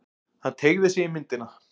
Hann teygði sig í myndina.